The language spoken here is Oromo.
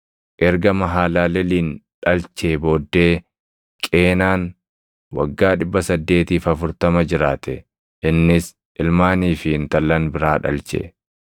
Erga Mahalaleeliin dhalchee booddee Qeenaan waggaa 840 jiraate; innis ilmaanii fi intallan biraa dhalche.